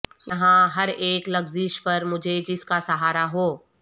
یہاں ہر ایک لغزش پر مجھے جس کا سہارا ہو